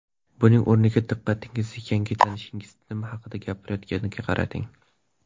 Buning o‘rniga diqqatingizni yangi tanishingiz nima haqida gapirayotganiga qarating.